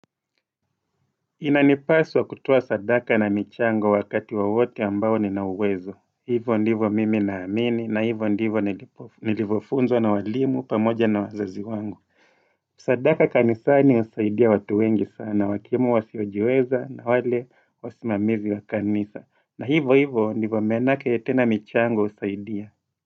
Inanipaswa kutoa sadaka na michango wakati wowote ambao Nina uwezo. Hivyo ndivyo mimi naamini na hivyo ndivyo nilivofunzwa na walimu pamoja na wazazi wangu. Sadaka kanisani inasaidia watu wengi sana. Wakimu wasiojiweza na wale wasimamizi wa kanisa. Na hivyo hivyo ndivo manake tena michango husaidia.